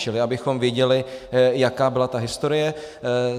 Čili abychom věděli, jaká byla ta historie.